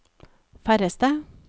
færreste